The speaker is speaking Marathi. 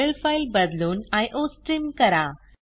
हेडर फाइल बदलून आयोस्ट्रीम करा